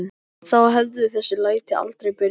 Þá hefðu þessi læti aldrei byrjað.